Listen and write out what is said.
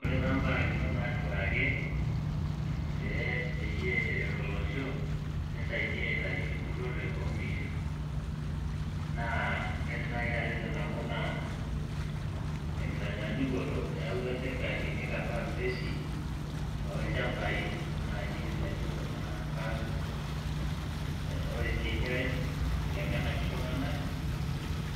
Ore taa mbarakinot naatipikaki pee peyie eret olosho neisaidia aitayu empurrore oonkishu, naa kaidim naaji atejo nabo naa tenkitanyaanyukoto eyawutua serkali neikarraa ng'uesi toolchambai naaji laijo kuna parks. Ore sii eniare, eiteng'enaki iltung'anak